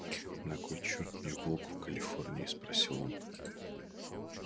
на кой черт мне волк в калифорнии спросил он